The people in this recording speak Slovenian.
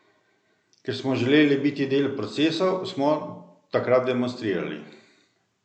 Ker smo želeli biti del procesov, smo takrat demonstrirali.